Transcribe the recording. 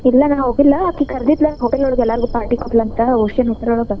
ಇಲ್ಲ ನಾನ್ ಹೋಗಿಲ್ಲ ಆಕಿ ಕರ್ದಿದ್ಲ hotel ಒಳಗ್ ಎಲ್ಲಾರಿಗು party ಕೊಟ್ಲಂತ Ocean hotel .